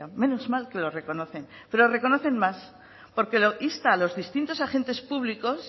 menos mal que lo reconocen pero reconocen máss porque insta a los distintos agentes públicos